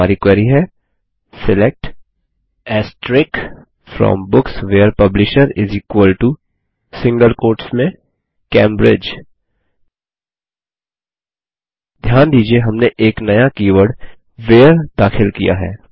और हमारी क्वेरी है select from books where publisher Cambridge ध्यान दीजिये हमने एक नया कीवर्ड व्हेरे दाखिल किया है